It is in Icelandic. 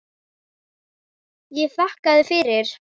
Ég þakkaði fyrir.